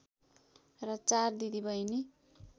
र चार दिदी बहिनी